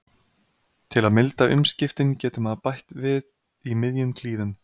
Til að milda umskiptin getur maður bætt við í miðjum klíðum.